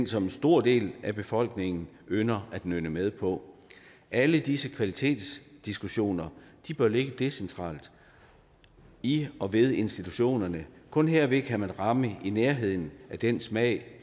som en stor del af befolkningen ynder at nynne med på alle disse kvalitetsdiskussioner bør ligge decentralt i og ved institutionerne kun herved kan man ramme i nærheden af den smag